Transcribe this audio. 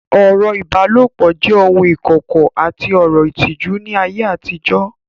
Ọ̀rọ̀ ìbálòpọ̀ jẹ́ ohun ìkọ̀kọ̀ àti ọ̀rọ̀ ìtìjú ní ayé àtijọ́